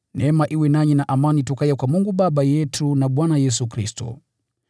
Neema iwe nanyi na amani itokayo kwa Mungu Baba yetu na Bwana Yesu Kristo.